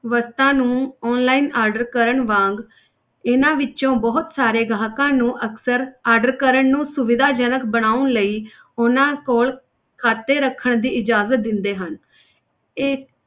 ਵਸਤਾਂ ਨੂੰ online order ਕਰਨ ਵਾਂਗ ਇਹਨਾਂ ਵਿੱਚੋਂ ਬਹੁਤ ਸਾਰੇ ਗਾਹਕਾਂ ਨੂੰ ਅਕਸਰ order ਕਰਨ ਨੂੰ ਸੁਵਿਧਾਜਨਕ ਬਣਾਉਣ ਲਈ ਉਹਨਾਂ ਕੋਲ ਖ਼ਾਤੇ ਰੱਖਣ ਦੀ ਇਜਾਜ਼ਤ ਦਿੰਦੇ ਹਨ ਇਹ